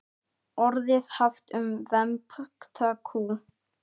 Orðið haft um vembda kú.